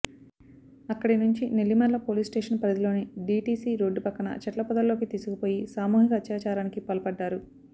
అక్కడి నుంచి నెల్లిమర్ల పోలీసుస్టేషన్ పరిధిలోని డీటీసీ రోడ్డు పక్కన చెట్ల పొదల్లోకి తీసుకుపోయి సామూహిక అత్యాచారానికి పాల్పడ్డారు